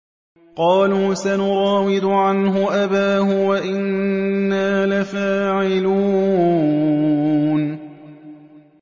قَالُوا سَنُرَاوِدُ عَنْهُ أَبَاهُ وَإِنَّا لَفَاعِلُونَ